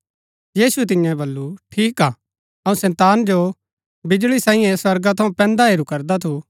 यीशुऐ तिआंओ वल्‍लु ठीक हा अऊँ शैतान जो बिजळी साईए स्वर्गा थऊँ पैंदा हेरू करदा थू